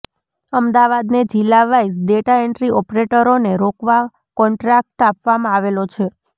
અમદાવાદને જિલ્લા wise data entry ઓપરેટરોને રોકવા કોન્ટ્રાક્ટ આપવામા આવેલો છે